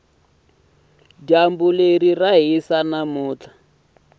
dyambu ra hisa namuntlha